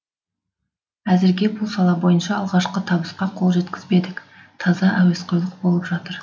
әзірге бұл сала бойынша алғашқы табысқа қол жеткізбедік таза әуесқойлық болып жатыр